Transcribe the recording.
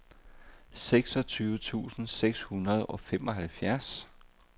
seksogtyve tusind seks hundrede og femoghalvfjerds